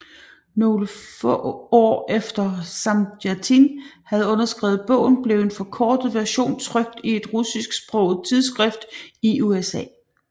Nogle få år efter Samjatin havde skrevet bogen blev en forkortet version trykt i et russisksproget tidsskrift i USA